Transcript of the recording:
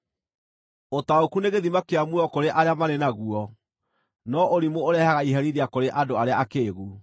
Ũtaũku nĩ gĩthima kĩa muoyo kũrĩ arĩa marĩ naguo, no ũrimũ ũrehaga iherithia kũrĩ andũ arĩa akĩĩgu.